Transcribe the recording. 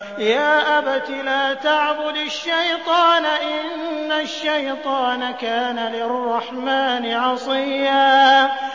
يَا أَبَتِ لَا تَعْبُدِ الشَّيْطَانَ ۖ إِنَّ الشَّيْطَانَ كَانَ لِلرَّحْمَٰنِ عَصِيًّا